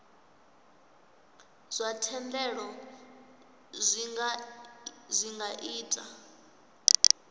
zwa thendelo zwi nga ita